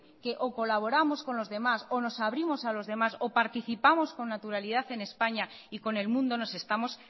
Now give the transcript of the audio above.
que o colaboramos con los demás o nos abrimos a los demás o participamos con naturalidad en españa y con el mundo nos estamos